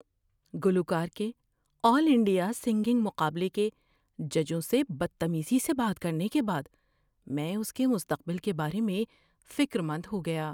گلوکار کے all India singing مقابلے کے ججوں سے بدتمیزی سے بات کرنے کے بعد میں اس کے مستقبل کے بارے میں فکر مند ہو گیا۔